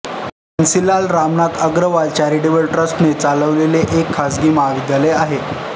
Bansilal Ramnath Agarwal charitable ट्रस्ट्ने चालवलेले एक खाजगी महाविद्यालय आहे